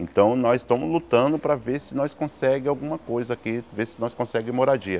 Então nós estamos lutando para ver se nós conseguimos alguma coisa aqui, ver se nós conseguimos moradia.